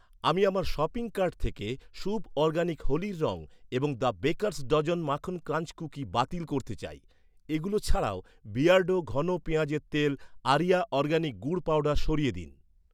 আমি আমার shopping cart থেকে শুভ্ অরগ্যানিক হোলি্র রং এবং দ্য বেকার'স্ ডজন মাখন ক্রাঞ্চ কুকি বাতিল করতে চাই। এগুলো ছাড়াও, বিয়ার্ডো ঘন পেঁয়াজের তেল, আরিয়া অরগ্যানিক গুড় পাউডার সরিয়ে দিন।